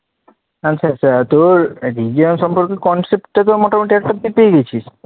আচ্ছা আচ্ছা, তোর Region সম্পর্কে concept টা তো মোটামুটি answer তো পেয়ে গেছিস